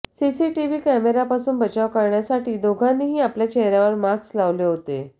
CCTV कॅमेऱ्यापासून बचाव करण्यासाठी दोघांनीही आपल्या चेहऱ्यावर मास्क लावले होते